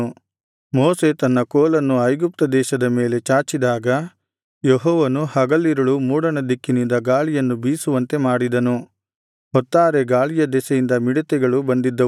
ಮೋಶೆ ತನ್ನ ಕೋಲನ್ನು ಐಗುಪ್ತ ದೇಶದ ಮೇಲೆ ಚಾಚಿದಾಗ ಯೆಹೋವನು ಹಗಲಿರುಳು ಮೂಡಣದಿಕ್ಕಿನಿಂದ ಗಾಳಿಯನ್ನು ಬೀಸುವಂತೆ ಮಾಡಿದನು ಹೊತ್ತಾರೆ ಗಾಳಿಯ ದೆಸೆಯಿಂದ ಮಿಡತೆಗಳು ಬಂದಿದ್ದವು